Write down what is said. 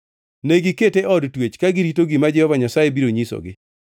Negikete e od twech ka girito gima Jehova Nyasaye biro nyisogi.